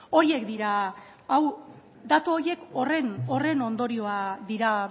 datu horiek horren ondorioa dira